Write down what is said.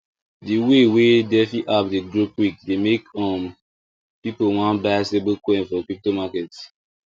the way wey defi apps dey grow quick dey make um people want buy stable coin for crypto market